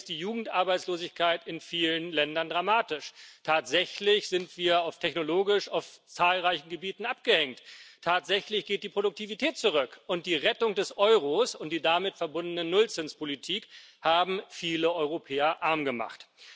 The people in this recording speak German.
Tatsächlich ist die Jugendarbeitslosigkeit in vielen Ländern dramatisch, tatsächlich sind wir technologisch auf zahlreichen Gebieten abgehängt, tatsächlich geht die Produktivität zurück, und die Rettung des Euros und die damit verbundene Nullzinspolitik haben viele Europäer arm gemacht.